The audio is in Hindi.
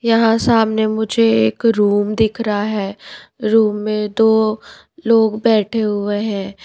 यहां सामने मुझे एक रूम दिख रहा है रूम में दो लोग बैठे हुए हैं।